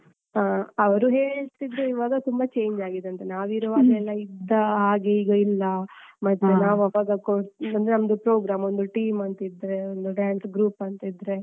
ಹಾ. ಅವರು ಹೇಳ್ತಿದ್ರು ಈವಾಗ ತುಂಬಾ change ಆಗಿದೆ ಅಂತ. ನಾವಿರುವಾಗ ಎಲ್ಲ ಇದ್ದ ಹಾಗೆ ಈಗ ಇಲ್ಲ. ಮತ್ತೆ ನಾವು ಆವಾಗ ಕೊಡ್ ಅಂದ್ರೆ ನಮ್ಮ program ಒಂದು team ಅಂತ ಇದ್ರೆ, ಒಂದು dance group ಅಂತ ಇದ್ರೆ.